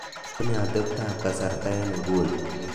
unee atebtab kasarta en inguni